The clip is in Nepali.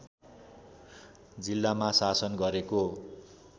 जिल्लामा शासन गरेको